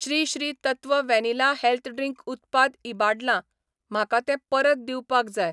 Shri Shri Tattva vanilla health drink उत्पाद इबाडलां, म्हाका तें परत दिवपाक जाय.